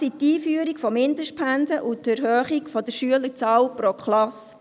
Es sind dies die Einführung von Mindestpensen und die Erhöhung der Schülerzahl pro Klasse.